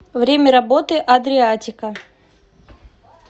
время работы адриатика